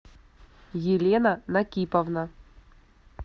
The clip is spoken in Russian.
елена накиповна